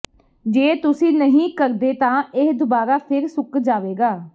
ਜੇ ਤੁਸੀਂ ਨਹੀਂ ਕਰਦੇ ਤਾਂ ਇਹ ਦੁਬਾਰਾ ਫਿਰ ਸੁੱਕ ਜਾਵੇਗਾ